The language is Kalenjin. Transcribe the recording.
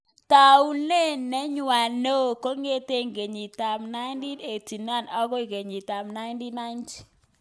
Taunet neyo nenywo kong'etegei kengit ab 1989 agoi kenyit ab 1990